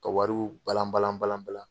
Ka wariw balan balan balan balan.